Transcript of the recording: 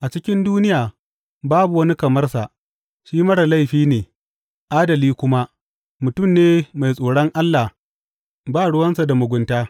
A cikin duniya babu wani kamar sa; shi marar laifi ne, adali kuma, mutum ne mai tsoron Allah ba ruwansa da mugunta.